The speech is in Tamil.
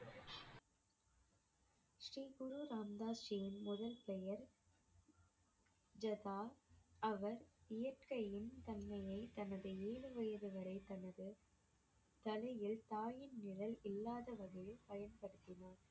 ஸ்ரீ குரு ராம் தாஸ் ஜியின் முதல் பெயர் ஜகா அவர் இயற்கையின் தன்மையை தனது ஏழு வயது வரை தனது தலையில் தாயின் நிழல் இல்லாத வகையில் பயன்படுத்தினர்